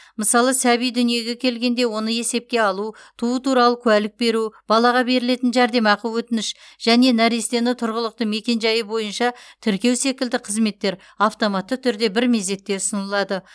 мысалы сәби дүниеге келгенде оны есепке алу туу туралы куәлік беру балаға берілетін жәрдемақы өтініш және нәрестені тұрғылықты мекенжайы бойынша тіркеу секілді қызметтер автоматты түрде бір мезетте ұсынылады